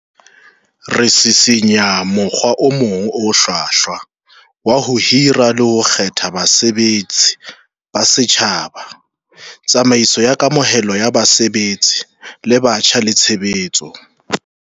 Re sisinya mokgwa o mong o hlwahlwa wa ho hira le ho kgetha basebetsi ba setjhaba, tsamaiso ya kamohelo ya basebetsi ba batjha le tshe betso.